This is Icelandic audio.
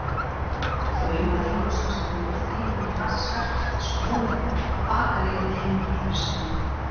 Laumaði hálsfestinni úr þýfinu í vasa Skarphéðins og vonaði að bakari yrði hengdur fyrir smið.